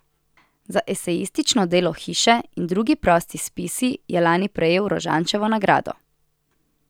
Za esejistično delo Hiše in drugi prosti spisi je lani prejel Rožančevo nagrado.